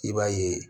I b'a ye